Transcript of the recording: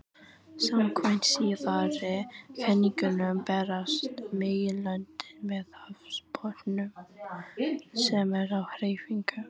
Samkvæmt síðari kenningunum berast meginlöndin með hafsbotninum, sem er á hreyfingu.